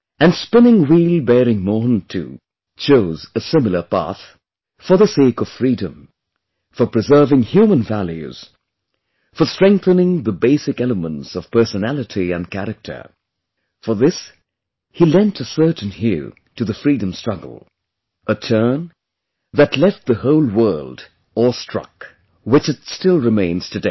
And spinningwheel bearing Mohan too chose a similar path, for the sake of Freedom, for preserving human values, for strengthening the basic elements of personality & character for this he lent a certain hue to the Freedom struggle, a turn, that left the whole world awe struck, which it still remains today